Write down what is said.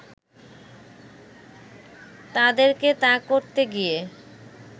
তাঁদেরকে তা করতে গিয়ে